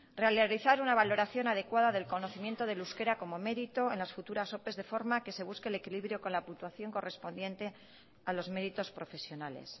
realizar una valoración adecuada del conocimiento del euskera como mérito en las futuras opes de forma que se busque el equilibrio con la puntuación correspondiente a los meritos profesionales